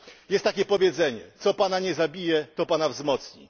Jest takie powiedzenie co Pana nie zabije, to Pana wzmocni.